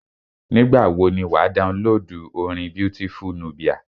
Nígbà wọ ni wà á downloadu orin Beautiful Nubia.